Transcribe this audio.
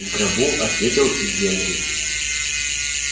в гробу ответил генри